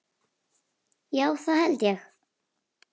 Já það held ég.